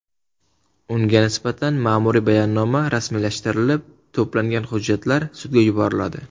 Unga nisbatan ma’muriy bayonnoma rasmiylashtirilib, to‘plangan hujjatlar sudga yuboriladi.